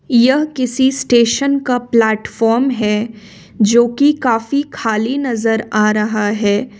यह किसी स्टेशन का प्लेटफार्म है जो कि काफी खाली नजर आ रहा है।